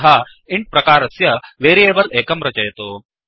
अतः इन्ट् प्रकारस्य वेरियेबल् एकं रचयतु